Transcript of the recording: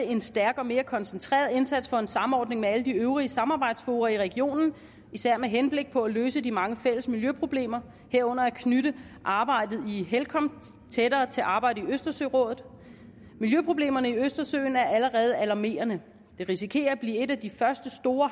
en stærk og mere koncentreret indsats for en samordning med alle de øvrige samarbejdsfora i regionen især med henblik på at løse de mange fælles miljøproblemer herunder at knytte arbejdet i helcom tættere til arbejdet i østersørådet miljøproblemerne i østersøen er allerede alarmerende og den risikerer at blive et af de første store